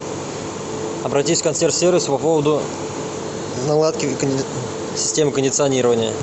обратись в консьерж сервис по поводу наладки системы кондиционирования